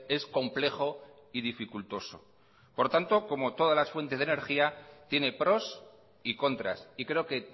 es complejo y dificultoso por tanto como todas las fuentes de energía tiene pros y contras y creo que